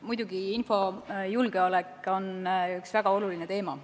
Muidugi, infojulgeolek on väga oluline teema.